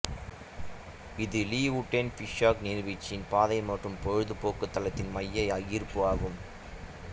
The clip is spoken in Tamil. இது லீ வுடென் ஃபிஷ்ஹாக் நீர்வீழ்ச்சியின் பாதை மற்றும் பொழுதுபோக்கு தளத்தின் மைய ஈர்ப்பு ஆகும்